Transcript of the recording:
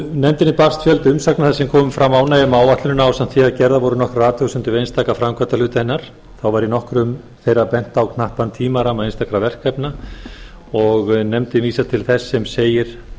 nefndinni barst fjöldi umsagna þar sem kom fram ánægja með áætlunina ásamt því að gerðar voru nokkrar athugasemdir við einstaka framkvæmdarhluta hennar þá var í nokkrum þeirra bent á knappan tímaramma einstakra verkefna nefndin vísar til þess sem segir